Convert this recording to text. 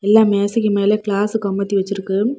எல்லா மேசைக்கு மேல கிளாஸு கமுத்தி வச்சிருக்கு.